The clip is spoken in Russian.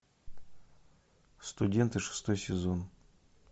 студенты шестой сезон